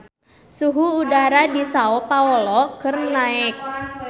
Suhu udara di Sao Paolo keur naek